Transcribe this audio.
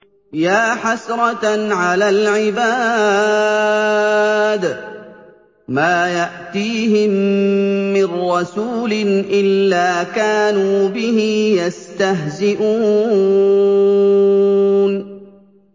يَا حَسْرَةً عَلَى الْعِبَادِ ۚ مَا يَأْتِيهِم مِّن رَّسُولٍ إِلَّا كَانُوا بِهِ يَسْتَهْزِئُونَ